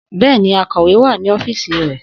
Bẹ́ẹ̀ni, akọ̀wé wà ní ọ́fíìsì rẹ̀